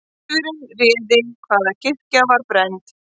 Tilviljun réð hvaða kirkja var brennd